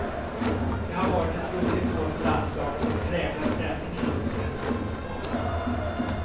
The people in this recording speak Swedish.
Det har varit ett roligt år för landslaget och det präglar stämningen inom svensk fotboll.